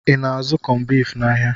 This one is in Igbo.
I na-azụ kọmbif n'ahia?